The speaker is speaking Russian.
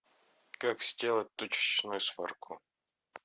как сделать точечную сварку